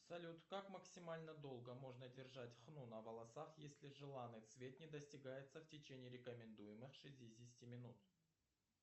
салют как максимально долго можно держать хну на волосах если желанный цвет не достигается в течение рекомендуемых шестидесяти минут